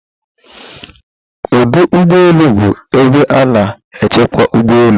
ọdụ ụgbọ elu bụ ebe a na-echekwa ụgbọ elu